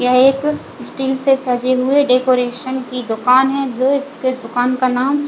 यह एक स्टील से सजे हुए डेकोरेशन की दूकान है जो इसके दुकान का नाम--